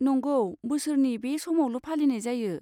नंगौ, बोसोरनि बे समावल' फालिनाय जायो।